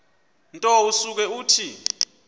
nto usuke uthi